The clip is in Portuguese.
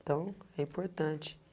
Então, é importante.